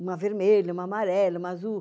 Uma vermelha, uma amarela, uma azul.